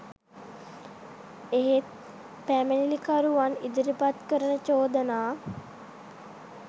එහෙත් පැමිණිලිකරුවන් ඉදිරිපත් කරන චෝදනා